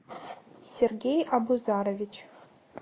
сергей абузарович